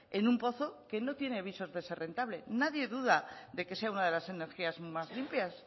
en un pozo que no tiene visos de ser rentable nadie duda de que sea una de las energías más limpias